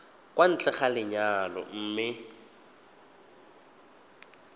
kwa ntle ga lenyalo mme